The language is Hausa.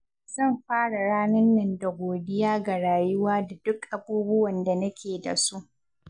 Zan fara ranan nan da godiya ga rayuwa da duk abubuwan da nake da su.